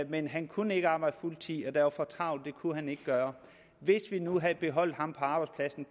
men han kunne ikke arbejde fuldtid der var for travlt så det kunne han ikke gøre hvis vi nu havde beholdt ham på arbejdspladsen